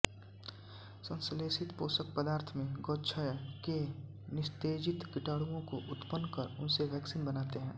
संश्लेषित पोषक पदार्थ में गोक्षय के निस्तेजित कीटाणुओं को उत्पन्न कर उनसे वैक्सीन बनाते हैं